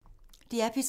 DR P3